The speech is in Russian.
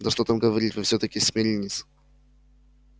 да что там говорить вы всё-таки смирниец